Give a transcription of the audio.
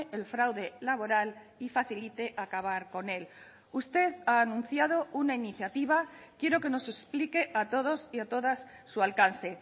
el fraude laboral y facilite acabar con él usted ha anunciado una iniciativa quiero que nos explique a todos y a todas su alcance